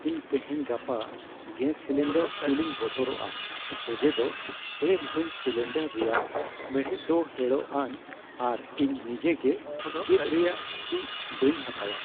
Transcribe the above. ᱤᱧ ᱛᱮᱦᱮᱧ ᱜᱟᱯᱟ ᱜᱮᱥ ᱥᱤᱞᱤᱱᱰᱟᱨ ᱛᱩᱞᱤᱧ ᱵᱚᱛᱚᱨᱚᱜᱼᱟ ᱚᱡᱮ ᱫᱚ ᱰᱷᱮᱨ ᱦᱤᱸᱥ ᱥᱤᱞᱤᱱᱰᱟᱨ ᱨᱮᱭᱟᱜ ᱢᱮᱬᱦᱮᱫ ᱫᱚ ᱦᱮᱲᱚᱜᱼᱟᱱ ᱟᱨ ᱤᱧ ᱱᱤᱡᱮᱜᱮ ᱜᱮᱫ ᱨᱮᱭᱟᱜ ᱡᱷᱩᱠᱤ ᱵᱟᱹᱧ ᱦᱟᱛᱟᱣᱟ ᱾